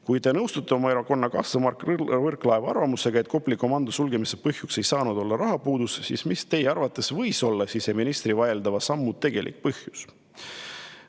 Kui te nõustute oma erakonnakaaslase Mart Võrklaeva arvamusega, et Kopli komando sulgemise põhjus ei saanud olla rahapuudus, siis mis teie arvates võis olla siseministri vaieldava sammu tegelik põhjus?